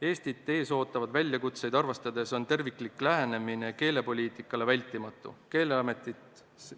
Eestit ees ootavaid väljakutseid arvestades on terviklik lähenemine keelepoliitikale hädavajalik.